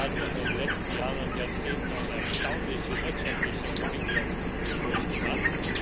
China hat in den letzten Jahren und Jahrzehnten eine erstaunliche wirtschaftliche Entwicklung durchgemacht.